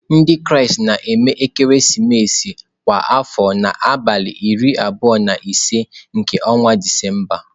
Ndị Kraịst na-eme ekeresimesi kwa afọ n'abalị iri abụọ na ise nke ọnwa Disemba.